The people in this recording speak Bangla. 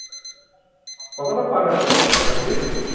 কতো টা part আছে Farzi